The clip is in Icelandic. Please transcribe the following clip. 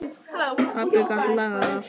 Pabbi gat lagað allt.